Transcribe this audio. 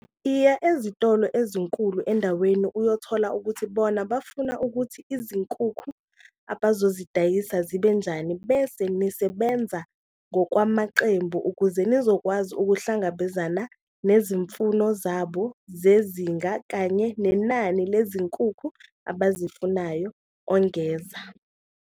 "Iya ezitolo ezinkulu endaweni uyothola ukuthi bona bafuna ukuthi izinkukhu abazozidayisa zibe njani bese nisebenza ngokwamaqembu ukuze nizokwazi ukuhlangabezana nezi mfuno zabo zezinga kanye nenani lezinkukhu abazifunayo," ongeza.